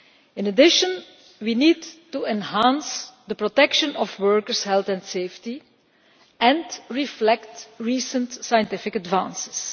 In addition, we need to enhance the protection of workers' health and safety and reflect recent scientific advances.